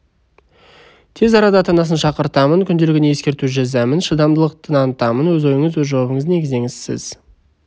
тез арада ата-анасын шақыртамын күнделігіне ескерту жазамын шыдамдылық танытамын өз ойыныз өз жауабыңызды негіздеңіз сіз